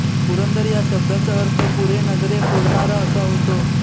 पुरंदर या शब्दाचा अर्थ पुरेनगरे फोडणारा असा होतो